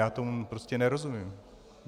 Já tomu prostě nerozumím.